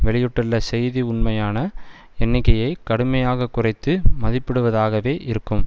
வெளியிட்டுள்ள செய்தி உண்மையான எண்ணிக்கையை கடுமையாக குறைத்து மதிப்பிடுவதாகவே இருக்கும்